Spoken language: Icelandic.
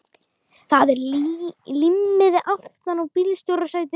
Það er límmiði aftan á bílstjórasætinu.